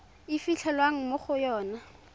e fitlhelwang mo go yona